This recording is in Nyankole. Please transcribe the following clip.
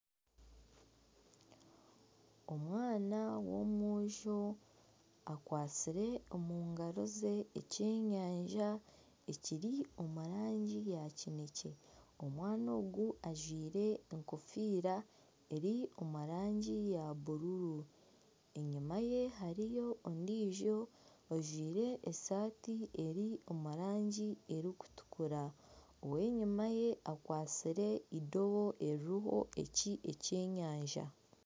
Omwana w'omwojo akwatsire omu ngaro ze eky'enyanja ekiri omu rangi ya kineekye, omwana ogu ajwire enkofiira eri omu rangi ya bururu, enyuma ye hariyo ondiijo ajwire esaati eri omu rangi erikutukura, ow'enyuma ye akwatsire eirobo eririho ekyenyanja